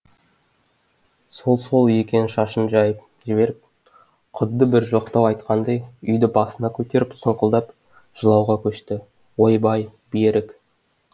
сол сол екен шашын жайып жіберіп құдды бір жоқтау айтқандай үйді басына көтеріп сұңқылдап жылауға көшті ой бай бе рік